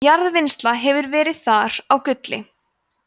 jarðvinnsla hefur verið þar á gulli